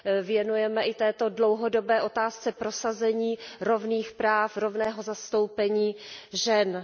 věnujeme i této dlouhodobé otázce prosazení rovných práv, rovného zastoupení žen.